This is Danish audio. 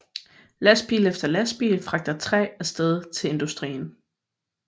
Lastbil efter lastbil fragter træ af sted til industrien